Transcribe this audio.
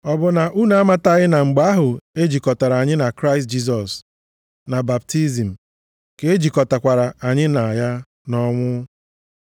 Ọ bụ na unu amataghị na mgbe ahụ e jikọtara anyị na Kraịst Jisọs na baptizim ka e jikọtakwara anyị na ya nʼọnwụ.